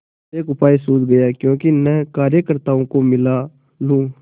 एक उपाय सूझ गयाक्यों न कार्यकर्त्ताओं को मिला लूँ